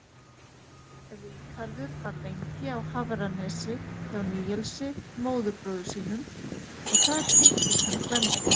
Ríkharður var lengi á Hafranesi hjá Níelsi, móðurbróður sínum, og þar kynntist hann Gvendi.